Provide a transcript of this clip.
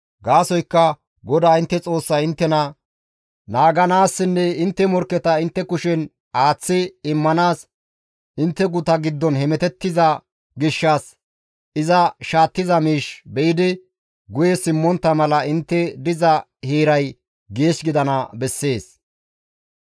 Gaasoykka GODAA intte Xoossay inttena naaganaassinne intte morkketa intte kushen aaththi immanaas intte guta giddon hemetettiza gishshas iza shaattiza miish be7idi guye simmontta mala intte diza heeray geesh gidana bessees.